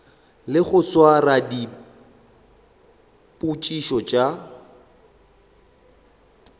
le go swara dipitšo tša